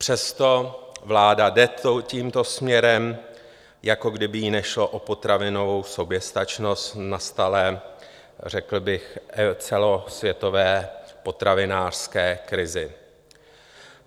Přesto vláda jde tímto směrem, jako kdyby jí nešlo o potravinovou soběstačnost v nastalé řekl bych celosvětové potravinářské krizi.